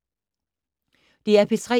DR P3